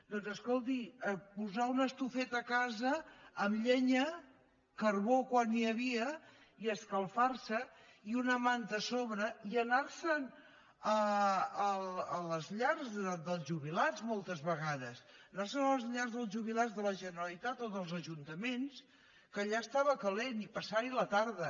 doncs escolti posar una estufeta a casa amb llenya carbó quan n’hi havia i escalfar se i una manta a sobre i anar se’n a les llars dels jubilats moltes vegades anar se’n a les llars dels jubilats de la generalitat o dels ajuntaments que allà estava calent i passar hi la tarda